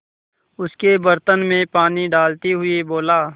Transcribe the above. उसके बर्तन में पानी डालते हुए बोला